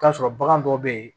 K'a sɔrɔ bagan dɔ bɛ yen